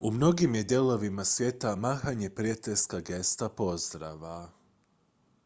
u mnogim je dijelovima svijeta mahanje prijateljska gesta pozdrava